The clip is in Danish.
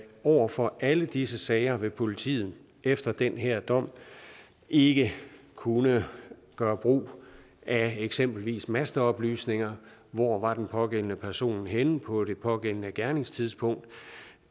over for alle disse sager vil politiet efter den her dom ikke kunne gøre brug af eksempelvis masteoplysninger hvor var den pågældende person henne på det pågældende gerningstidspunkt